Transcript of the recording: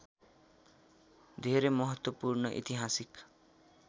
धेरै महत्त्वपूर्ण ऐतिहासिक